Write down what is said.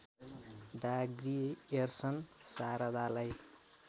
डा ग्रियर्सन शारदालाई